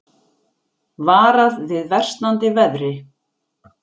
Varað við versnandi veðri